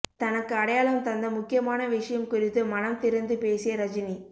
தனக்கு அடையாளம் தந்த முக்கியமான விஷயம் குறித்து மனம் திறந்து பேசிய ரஜினி